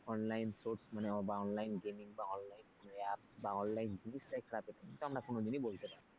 online source বা online gaming বা online app বা online জিনিসটাই খারাপ এটা কিন্তু আমরা কোনদিনই বলতে পারবো না।